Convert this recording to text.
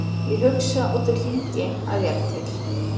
Ég hugsa og því hlýt ég að vera til.